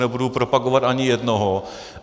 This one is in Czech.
Nebudu propagovat ani jednoho.